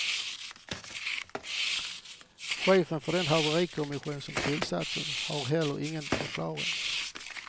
Chefen för den haverikommission som tillsattes har heller ingen förklaring.